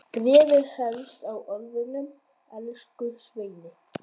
Bréfið hefst á orðunum Elsku Svenni!